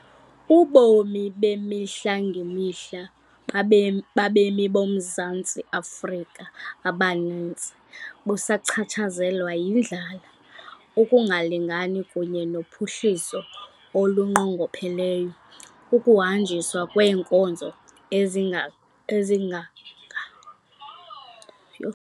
Ubomi bemihla ngemihla babemi boMzantsi Afrika abaninzi busachatshazelwa yindlala, ukungalingani kunye nophuhliso olunqongopheleyo, ukuhanjiswa kweenkonzo ezikumgangatho ophantsi kunye nokunqongophala kwamathuba.